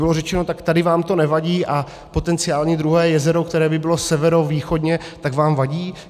Nebylo řečeno, tak tady vám to nevadí a potenciální druhé jezero, které by bylo severovýchodně, tak vám vadí?